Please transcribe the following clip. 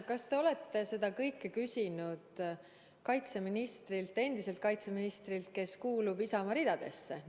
Kas te olete seda kõike küsinud ka endiselt kaitseministrilt, kes kuulub Isamaa ridadesse?